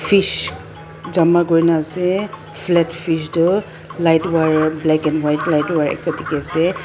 fish jama kurina ase flat fish tu light wire black and white light wire ekta dikhiase.